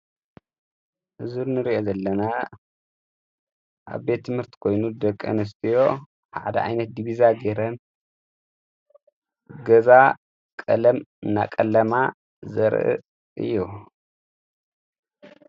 እዙርንርእኢ ዘለና ኣብ ቤት ምህርቲ ኮይኑ ደቂ ንስትዮ ሓደ ኣይነት ዲቢዛ ገይረን ገዛ ቀለም እናቐለማ ዘርኢ እዩ።